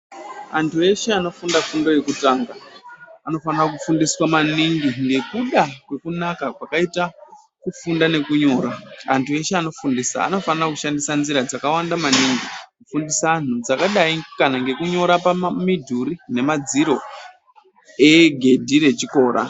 Anhu eshe anofunda fundo yekutanga anofana kufundiswa maningi nekuda kwekunaka kwakaita kufunda nekunyora. Antu eshe anofundisa anofana kushandisa nzira dzakawanda maningi kufundisa anhu dzakadai kana nekunyora midhuri nemadziro egedhi rechikora.